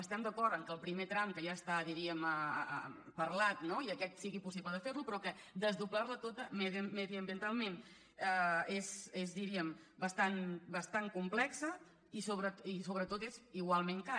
estem d’acord que el primer tram que ja està diríem parlat no i aquest sigui possible de fer·lo però que desdoblar·la tota medi·ambientalment és diríem bastant complex i sobretot és igualment car